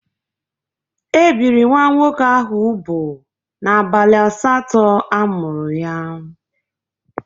E biri nwa nwoke ahụ ubụ n'abalị asatọ a mụrụ ya.